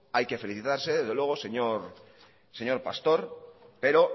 hay que felicitarse desde luego señor pastor pero